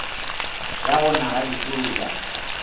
ya go na ga dipula